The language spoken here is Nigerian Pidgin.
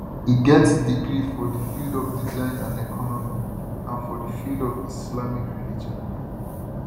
e get degree for di field of design and economy and for di field of islamic religion